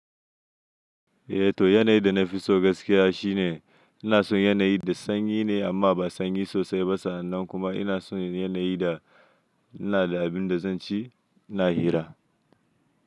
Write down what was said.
Eh to yanayi da na fi so gaskiya shine ina son yanayi da sanyi ne amma ba sanyi sosai ba sa annan kuma ina son yanayi da ina da abin da zan ci ina hira.